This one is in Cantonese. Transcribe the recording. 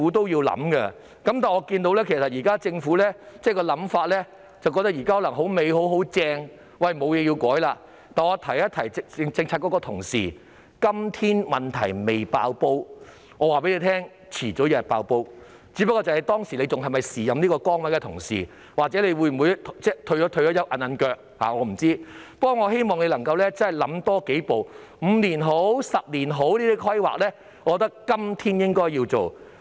然而，我看到政府可能覺得現時情況理想，沒有甚麼需要改變，但我要提醒政策局的同事，今天問題尚未"爆煲"，但早晚有一天會"爆煲"，只不過屆時擔任這個職位的人是否同一人，抑或已經退休，我不知道，但我希望他們能夠多想一步，無論是5年或10年的規劃，我覺得都是今天應該要做的。